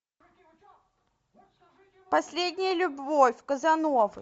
последняя любовь казановы